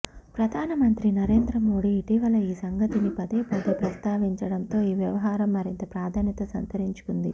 ప్రధానమంత్రి నరేంద్ర మోదీ ఇటీవల ఈ సంగతిని పదేపదే ప్రస్తావించడంతో ఈ వ్యవహారం మరింత ప్రాధాన్యత సంతరించుకుంది